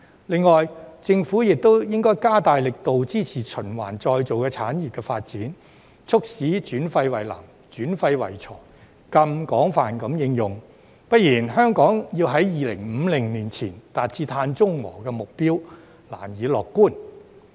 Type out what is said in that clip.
另外，政府亦應加大力度支持循環再造產業的發展，促使轉廢為能、轉廢為材更廣泛地應用，不然，香港要在2050年前達至碳中和的目標，難以樂觀。